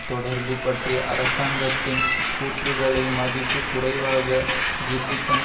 தொடர்பு பற்றிய அரசாங்கத்தின் கூற்றுக்களை மதிப்பு குறைவாக ஜில்லிகன்